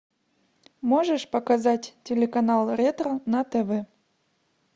можешь показать телеканал ретро на тв